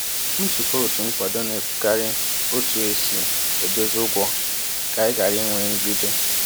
Nzukọ otu nkwado na-ekwukarị otu esi edozi ụgwọ ka anyị ghara inwe nrụgide.